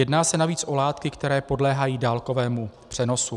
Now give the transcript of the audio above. Jedná se navíc o látky, které podléhají dálkovému přenosu.